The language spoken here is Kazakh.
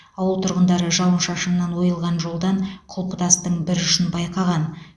ауыл тұрғындары жауын шашыннан ойылған жолдан құлпытастың бір ұшын байқаған